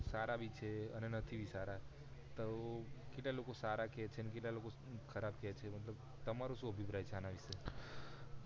કઈ કેટલાક લોકો સારા છે કેટલાક લોકો ખરાબ છે તમારો સુ અભિપ્રાય છે આના વિશે